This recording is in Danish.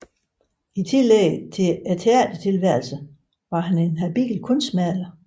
I tillæg til teatertilværelsen var han en habil kunstmaler